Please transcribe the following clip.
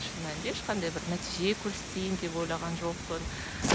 шын мәнінде ешқандай бір нәтиже көрсетейін деп ойлаған жоқпын